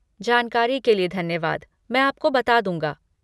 जानकारी के लिए धन्यवाद, मैं आपको बता दूँगा।